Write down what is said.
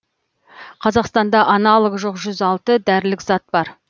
қазақстанда аналогы жоқ жүз алты дәрілік зат бар